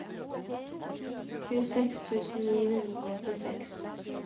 tjueseks tusen ni hundre og åttiseks